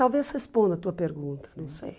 Talvez responda a tua pergunta, não sei.